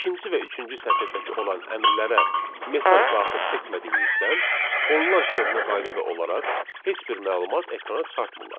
İkinci və üçüncü sətirdəki olan əmrlərə mesaj daxil etmədiyimizdən, onlar köhnə qaydada olaraq heç bir məlumat ekrana çıxartmırlar.